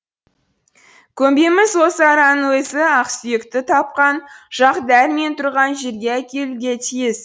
көмбеміз осы араның өзі ақсүйекті тапқан жақ дәл мен тұрған жерге әкелуге тиіс